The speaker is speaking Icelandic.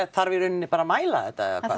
þarf í rauninni bara að mæla þetta eða hvað